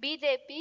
BJP